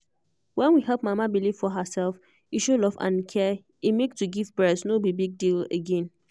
when we help mama believe for herself e show love and care e make to give breast no be big deal again.